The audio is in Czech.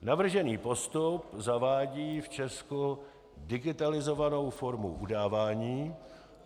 Navržený postup zavádí v Česku digitalizovanou formu udávání.